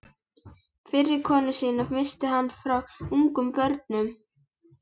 Fyrri konu sína missti hann frá ungum börnum.